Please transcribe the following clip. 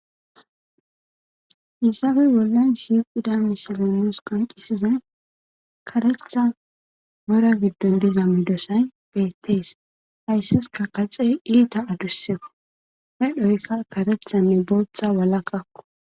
Haysappe bollan shiiqida misalanos qoncisiza karetha mora giddon diza midosay bettees haysses ka kacey iita adusseeko hedhoykka karethanne booththa walakkakko